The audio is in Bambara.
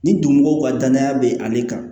Ni donmɔgɔw ka danaya be ale kan